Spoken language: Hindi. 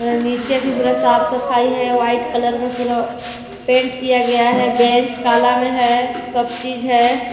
नीचे भी पूरा साफ- सफाई है वाइट कलर में पूरा पेंट किया गया है बेंच काला में है सब चीज है।